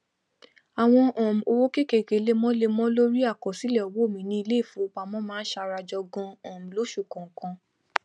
àwọn um owó kékéké lemọlemọ lórí àkọsílẹ owó mi ní iléìfowópamọ máa ń sarajọ ganan um losù kọọkan